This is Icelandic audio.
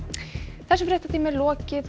þessum fréttatíma er lokið